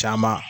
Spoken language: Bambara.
Caman